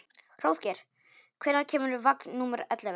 Hróðgeir, hvenær kemur vagn númer ellefu?